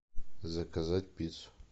заказать пиццу